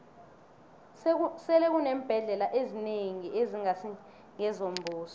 sele kuneembhendlela ezinengi ezingasi ngezombuso